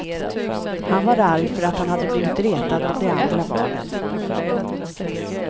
Han var arg för att han hade blivit retad av de andra barnen.